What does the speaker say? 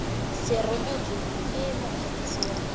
se rebotswe ke mokwadisi wa